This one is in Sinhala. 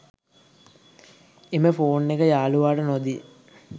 එම ෆෝන් එක යාළුවාට නොදී